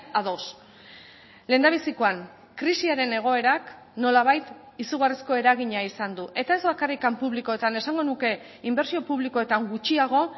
a dos lehendabizikoan krisiaren egoerak nolabait izugarrizko eragina izan du eta ez bakarrik publikoetan esango nuke inbertsio publikoetan gutxiago